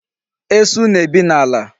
Esu na-ebi n'ala.